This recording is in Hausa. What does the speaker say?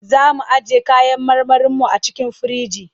Za mu ajiye kayan marmarinmu a cikin firinji.